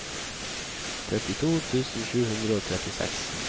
trettito tusen sju hundre og trettiseks